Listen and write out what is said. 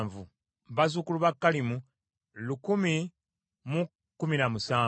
bazzukulu ba Kalimu lukumi mu kumi na musanvu (1,017).